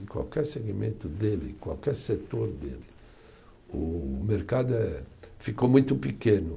Em qualquer segmento dele, em qualquer setor dele, o mercado é, ficou muito pequeno.